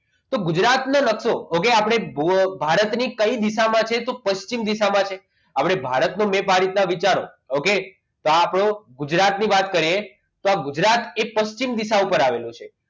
તો ગુજરાતને લગતો નકશો okay ભારતની કઈ દિશામાં છે તો પશ્ચિમ દિશામાં છે ભારતનો મેં ભારતના વિચાર ઓકે તો આપણું ગુજરાતની વાત કરીએ તો ગુજરાત એ પશ્ચિમ દિશા ઉપર આવેલું છે